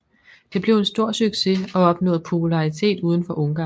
Det blev en stor succes og opnåede popularitet uden for Ungarn